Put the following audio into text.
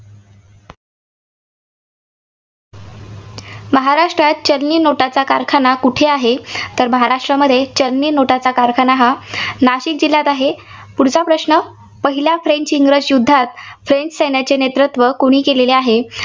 महाराष्ट्रात चलनी note चा कारखाना कुठे आहे. तर महाराष्ट्रामध्ये चलनी note चा कारखाना हा नाशिक जिल्ह्यात आहे. पुढचा प्रश्न पहिला फ्रेंच इंग्रज युद्धात फ्रेंच सैन्याचे नेतृत्व कुणी केलेले आहे?